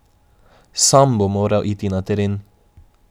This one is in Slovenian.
Sam bom moral iti na teren.